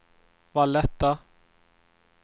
Valletta